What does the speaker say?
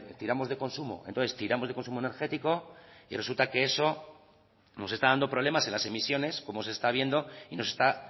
tiramos de consumo entonces tiramos de consumo energético y resulta que eso nos está dando problemas en las emisiones como se está viendo y nos está